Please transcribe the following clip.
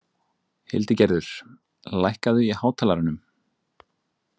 Hildigerður, lækkaðu í hátalaranum.